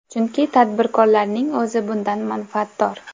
Chunki tadbirkorlarning o‘zi bundan manfaatdor.